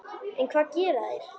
En hvað gera þeir?